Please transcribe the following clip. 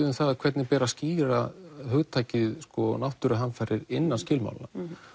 um það hvernig ber að skýra hugtakið náttúruhamfarir innan skilmálanna